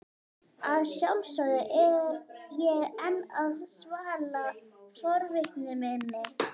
Að sjálfsögðu er ég enn að svala forvitni minni.